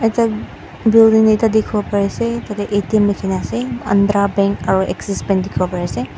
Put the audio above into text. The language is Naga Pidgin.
eta building ekta dikhi wo pari ase tate A_T_M likhi ne ase andra bank aru axisbank dikhi wo pari ase.